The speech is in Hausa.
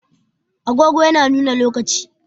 Agogo yana nuna lokaci.